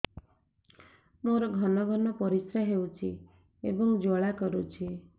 ମୋର ଘନ ଘନ ପରିଶ୍ରା ହେଉଛି ଏବଂ ଜ୍ୱାଳା କରୁଛି